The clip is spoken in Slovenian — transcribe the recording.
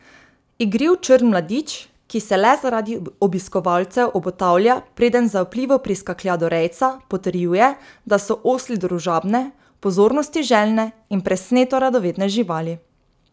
Igriv črn mladič, ki se le zaradi obiskovalcev obotavlja, preden zaupljivo priskaklja do rejca, potrjuje, da so osli družabne, pozornosti željne in presneto radovedne živali.